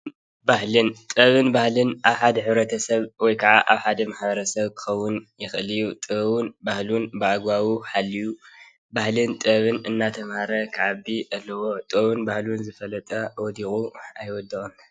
ጥበብን ባህልን ኣብ ሓደ ሕብረተሰብ ወይ ከዓ ኣብ ሓደ ማሕበረሰብ ክከውን ይክእል እዩ፡፡ ጥበቡን ባህሉን ብኣግበቡ ሓልዩ ባህልን ጥበብን እንዳተማሃረ ክዓቢ ኣለዎ፡፡ ጥበቡን ባህሉን ዝፈልጥ ወዲቁ ኣይወድቅን፡፡